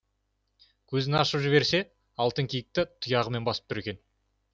көзін ашып жіберсе алтын киікті тұяғымен басып тұр екен